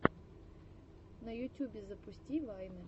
на ютюбе запусти вайны